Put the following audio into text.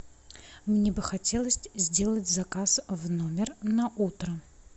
мне бы хотелось сделать заказ в номер на утро